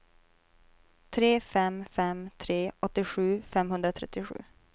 tre fem fem tre åttiosju femhundratrettiosju